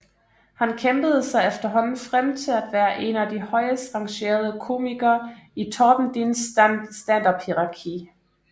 Han kæmpede sig efterhånden frem til at være en af de højest rangerede komikere i Torben Dins standuphierarki